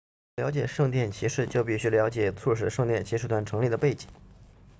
要了解圣殿骑士就必须了解促使圣殿骑士团成立的背景